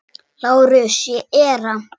LÁRUS: Ég er hann.